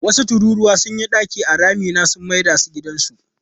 Wasu tururuwa sun yi ramuka a dakina sun mai da shi gidansu.